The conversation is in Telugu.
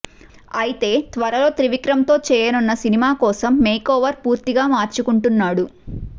అయితే త్వరలో త్రివిక్రమ్తో చేయనున్న సినిమా కోసం మేకోవర్ పూర్తిగా మార్చుకుంటున్నాడు